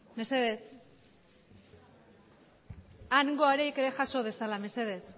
mesedez hangoak ere jaso dezala mesedez